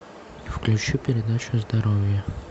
включи передачу здоровье